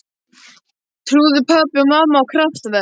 Trúðu pabbi og mamma á kraftaverk?